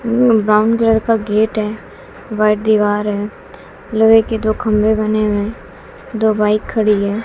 Brown colour का gate है white दीवार है लोहे के दो खंबे बने हुए हैं दो बाइक खड़ी है।